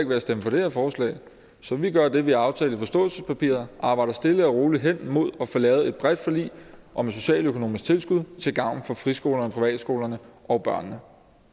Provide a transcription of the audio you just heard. ved at stemme for det her forslag så vi gør det vi har aftalt i forståelsespapiret arbejder stille og roligt hen imod at få lavet et bredt forlig om et socialøkonomisk tilskud til gavn for friskolerne og privatskolerne og børnene